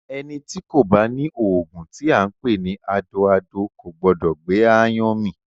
Ẹní tí ko bá ni oògùn tí a npè ni “adoado” ko gbọdọ gbé aáyán mì.